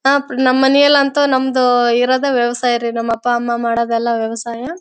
ನಮ್ಮ ಮನೇಲಿ ಅಂತನೂ ನಮ್ಮದು ಇರೋದೆ ವ್ಯವಸಾಯ ರೀ ನಮ್ಮ ಅಪ್ಪ ಅಮ್ಮ ಮಾಡೋದೆಲ್ಲಾ ವ್ಯವಸಾಯ.